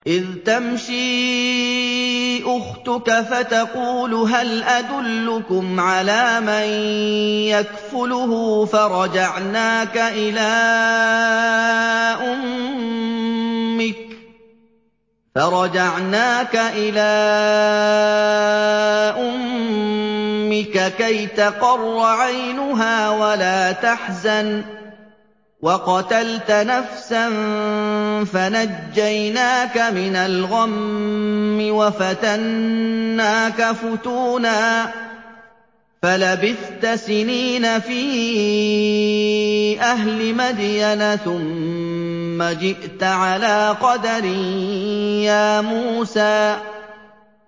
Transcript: إِذْ تَمْشِي أُخْتُكَ فَتَقُولُ هَلْ أَدُلُّكُمْ عَلَىٰ مَن يَكْفُلُهُ ۖ فَرَجَعْنَاكَ إِلَىٰ أُمِّكَ كَيْ تَقَرَّ عَيْنُهَا وَلَا تَحْزَنَ ۚ وَقَتَلْتَ نَفْسًا فَنَجَّيْنَاكَ مِنَ الْغَمِّ وَفَتَنَّاكَ فُتُونًا ۚ فَلَبِثْتَ سِنِينَ فِي أَهْلِ مَدْيَنَ ثُمَّ جِئْتَ عَلَىٰ قَدَرٍ يَا مُوسَىٰ